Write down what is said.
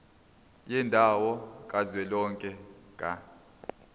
yendawo kazwelonke ka